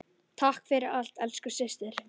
Takk fyrir allt, elsku systir.